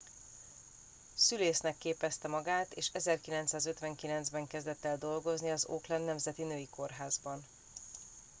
szülésznek képezte magát és 1959 ben kezdett el dolgozni az auckland nemzeti női kórházban